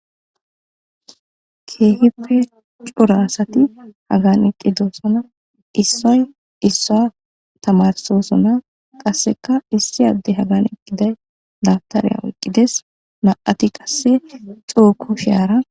Keehippe cora asati hagan eqqidosona issoy issa tamarsosona qasseka issi adde hagan eqqiday dabtareya oyqqides ma7ati qasse xuuko shaara.